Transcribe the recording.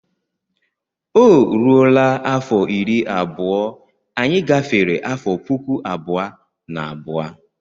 Ọ rụọla afọ iri abụọ anyị gafere afọ puku abụọ na abụọ.